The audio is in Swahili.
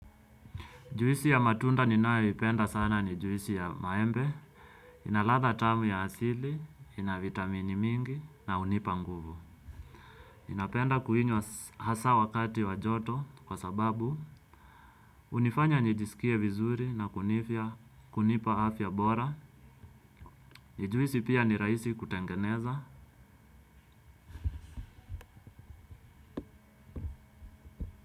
Juisi ya matunda ninaipenda sana ni juisi ya maembe, inaladha tamu ya asili, inavitamini mingi na hunipa nguvu. Ninapenda kuinywa hasa wakati wa joto kwa sababu unifanya nijisikie vizuri na kunifia kunipa afya bora. Ni juisi pia ni rahisi kutengeneza.